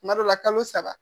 Kuma dɔ la kalo saba